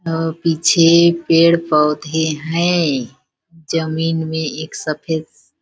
पीछे पेड़ पौधे हैं जमीन में एक सफेद --